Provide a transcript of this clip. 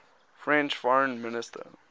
french foreign minister